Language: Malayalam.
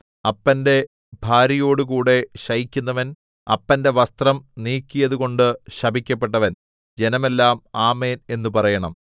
അപ്പന്റെ ഭാര്യയോടുകൂടെ ശയിക്കുന്നവൻ അപ്പന്റെ വസ്ത്രം നീക്കിയതുകൊണ്ട് ശപിക്കപ്പെട്ടവൻ ജനമെല്ലാം ആമേൻ എന്നു പറയണം